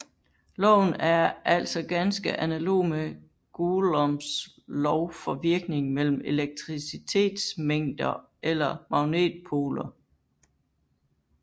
Loven er altså ganske analog med Goulombs lov for virkningen mellem elektricitetsmængder eller magnetpoler